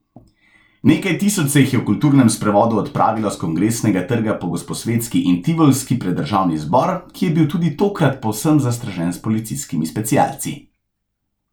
Nekaj tisoč se jih je v kulturnem sprevodu odpravilo s Kongresnega trga po Gosposvetski in Tivolski pred državni zbor, ki je bil tudi tokrat povsem zastražen s policijskimi specialci.